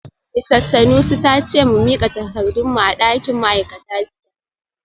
Misis Sanusi ta ce mu mika takardun mu a dakin ma’aikata jiya